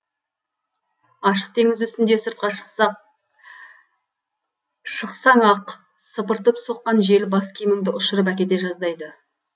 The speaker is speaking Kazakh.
ашық теңіз үстінде сыртқа шықсақ шықсаң ақ сыпыртып соққан жел бас киіміңді ұшырып әкете жаздайды